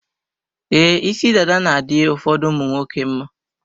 Ee, isi dada na-adị ụfọdụ ụmụnwoke mma.